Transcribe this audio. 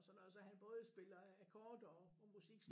Sådan noget så han både spiller akkorder og musik